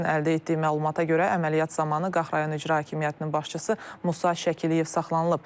Trendin əldə etdiyi məlumata görə, əməliyyat zamanı Qax rayon İcra Hakimiyyətinin başçısı Musa Şəkiliyev saxlanılıb.